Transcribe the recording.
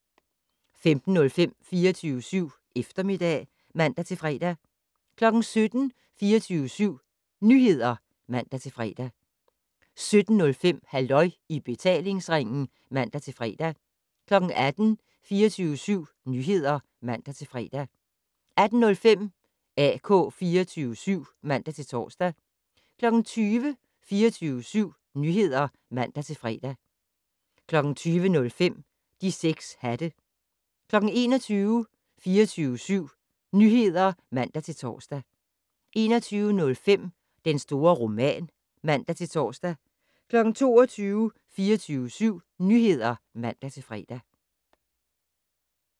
15:05: 24syv Eftermiddag (man-fre) 17:00: 24syv Nyheder (man-fre) 17:05: Halløj i betalingsringen (man-fre) 18:00: 24syv Nyheder (man-fre) 18:05: AK 24syv (man-tor) 20:00: 24syv Nyheder (man-fre) 20:05: De 6 hatte 21:00: 24syv Nyheder (man-tor) 21:05: Den store roman (man-tor) 22:00: 24syv Nyheder (man-fre)